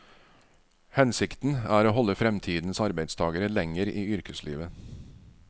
Hensikten er å holde fremtidens arbeidstagere lenger i yrkeslivet.